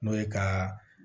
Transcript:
N'o ye ka